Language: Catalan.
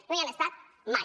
no hi han estat mai